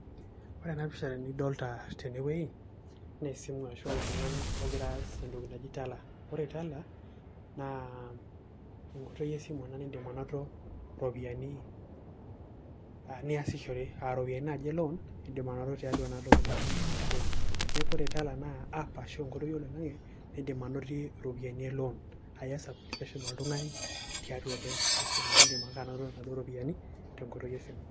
Ore ena pisha nidolta tenewei, na esimu ashu oltung'ani ogira aas entoki naji Tala. Ore Tala, naa enkoitoi esimu ena niidim anoto iropiyiani ah niasishore. Ah iropiyiani naji elon, idim anoto tiatua enatoki naji Tala. Neeku ore Tala naa app ashu enkoitoi oloing'ang'e nidim anotie iropiyiani elon. Ah iyas application oltung'ani, tiatua ake esimu. Nidim ake anoto naduo ropiyaiani, tenkoitoi esimu.